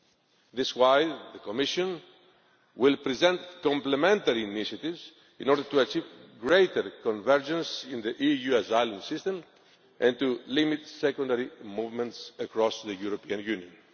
This is why the Commission will present complementary initiatives in order to achieve greater convergence in the EU asylum system and to limit secondary movements across the European Union.